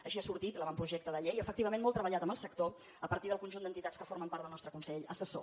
així ha sortit l’avantprojecte de llei efectivament molt treballat amb el sector a partir del conjunt d’entitats que formen part del nostre consell assessor